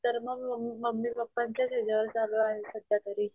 नाहीतर मग mummy mummy papa च्या ह्याच्यावरच चालू आहे सध्या तरी.